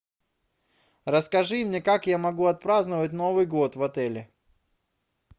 расскажи мне как я могу отпраздновать новый год в отеле